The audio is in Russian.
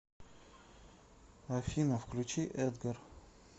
афина включи эдгар